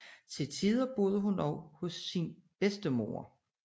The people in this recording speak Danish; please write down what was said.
Til tider boede hun også hos hendes bedstemor